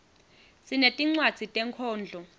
sinetincwadzi tenkhondlo